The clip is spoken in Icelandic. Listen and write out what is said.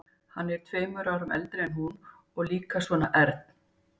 Hann er tveimur árum eldri en hún og líka svona ern.